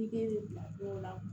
bila dɔw la